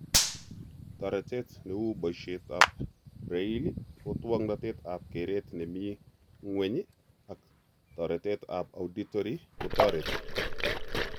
Toretet neuu boisiet ab braille, otwognatet ab keret nemii ng'weny, ak toretet ab auditory kotoreti